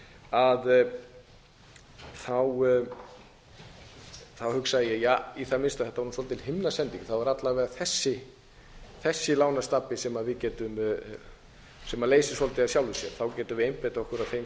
eru kölluð gengislán þá hugsaði ég ja í það minnsta þetta var svolítil himnasending það voru alla vega þessi lánastabbi sem við leysist svolítið af sjálfu sér þá getum við einbeitt okkur að þeim sem eru með